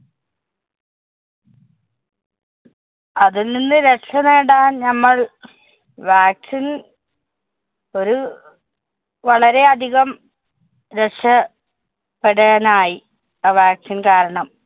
അതില്‍ നിന്ന് രക്ഷനേടാന്‍ നമ്മള്‍ vaccine ല്‍ ഒരു വളരെയധികം രക്ഷ~പ്പെടാനായി. ആ vaccine കാരണം.